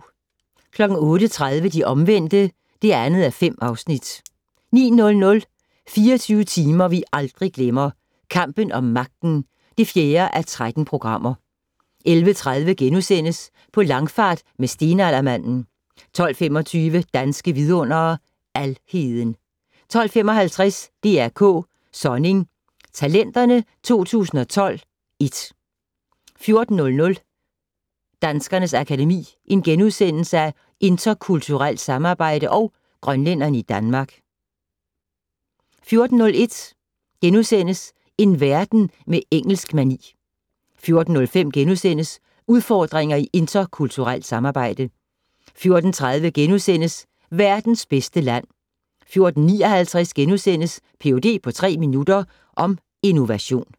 08:30: De Omvendte (5:8) 09:00: 24 timer vi aldrig glemmer - Kampen om magten (4:13) 11:30: På langfart med stenaldermanden * 12:25: Danske Vidundere: Alheden 12:55: DR K: Sonning talenterne 2012 (1) 14:00: Danskernes Akademi: Interkulturelt samarbejde & Grønlændere i Danmark * 14:01: En verden med engelsk-mani * 14:05: Udfordringer i interkulturelt samarbejde * 14:30: Verdens bedste land * 14:59: Ph.d. på tre minutter - om innovation *